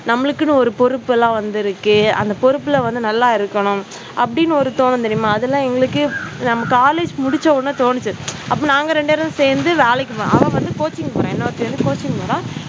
நம்மளுக்கு என்று ஒரு பொறுப்பு எல்லாம் வந்து இருக்கு. அந்த பொறுப்பில் வந்து நல்லா இருக்கணும் அப்படின்னு ஒரு தோணும் தெரியுமா? அது எல்லாம் எங்களுக்கு நம்ம college முடிச்ச உடனே தோணுச்சு. அப்போ நாங்க ரெண்டு பேரும் சேர்ந்து வேலைக்கு அவள் வந்து coaching போற இன்னொருத்தி வந்து coaching போறா